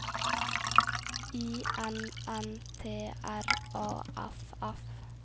I N N T R A F F